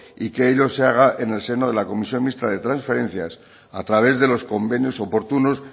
y que ello se hagan en el seno de la comisión mixta de transferencias a través de los convenios oportunos